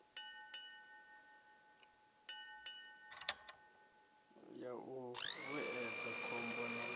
ya u vhuedza khombo na